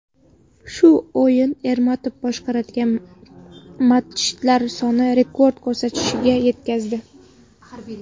Shu o‘yin Ermatov boshqargan matchlar sonini rekord ko‘rsatkichga yetkazdi .